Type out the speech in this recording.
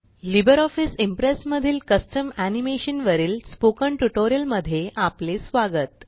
Libre office Impress मधील custom animation वरील spoken tutorial मध्ये आपले स्वागत